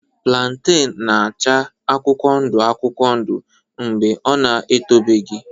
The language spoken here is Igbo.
Plantain na-acha akwụkwọ ndụ akwụkwọ ndụ mgbe ọ na-etobeghị.